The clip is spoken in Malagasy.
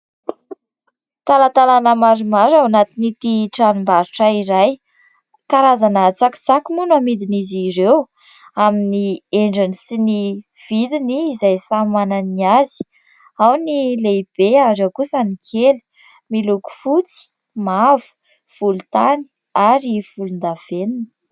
Talatalana maromaro ao anatin'ity tranombarotra iray. Karazana tsakitsaky moa no amidin' izy ireo amin'ny endriny sy ny vidiny izay samy manana ny azy : ao ny lehibe ary ao kosa ny kely ; miloko fotsy, mavo, volontany ary volondavenona.